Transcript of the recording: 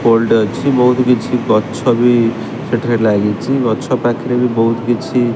old ଅଛି ବୋହୁତ୍ କିଛି ଗଛ ବି ସେଠାରେ ଲାଗିଚି ଗଛ ପାଖରେ ବି ବୋହୁତ୍ କିଛି --